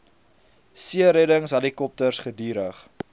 seereddings helikopters gedurig